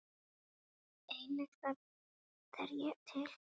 Einnig það er til.